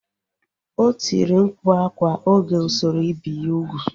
O tiri mkpu akwa oge usoro ibi ya ugwu